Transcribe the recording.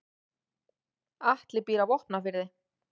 Atli býr á Vopnafirði.